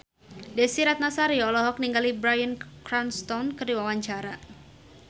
Desy Ratnasari olohok ningali Bryan Cranston keur diwawancara